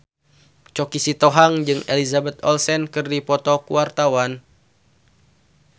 Choky Sitohang jeung Elizabeth Olsen keur dipoto ku wartawan